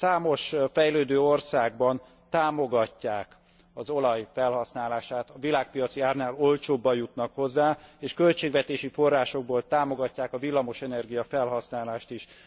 Számos fejlődő országban támogatják az olaj felhasználását, a világpiaci árnál olcsóban jutnak hozzá, és költségvetési forrásokból támogatják a villamosenergia felhasználást is.